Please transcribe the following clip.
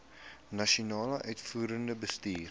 nasionale uitvoerende bestuur